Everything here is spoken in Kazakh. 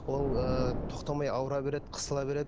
ол ыыы тоқтамай ауыра береді қысыла береді